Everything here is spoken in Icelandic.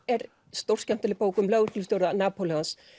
er stórskemmtileg bók um lögreglustjóra Napóleons